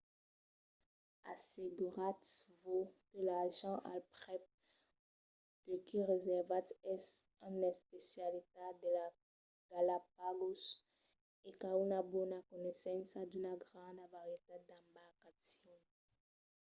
asseguratz-vos que l’agent al prèp de qui reservatz es un especialista de las galapagos e qu'a una bona coneissença d'una granda varietat d'embarcacions